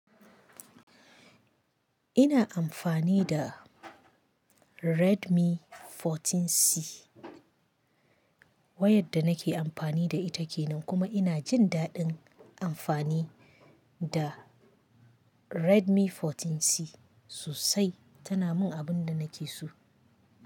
Ina amfani da Redmi 14C. Wa yadda nake amfani da ita ke nan kuma ina jin daɗin amfani da Redmi 14C sosai. Tana min abin da nake so.